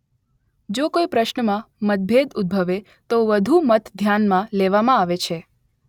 જો કોઇ પ્રશ્ન માં મતભેદ ઉદભવે તો વધુ મત ધ્યાન માં લેવામાં આવે છે